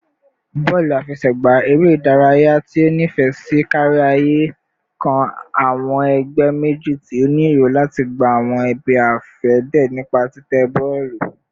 Bọọlu afẹsẹgba, ere idaraya ti o nifẹ si kariaye, kan awọn ẹgbẹ meji ti o ni ero lati gba awọn ibi-afẹde nipa titẹ bọọlu kan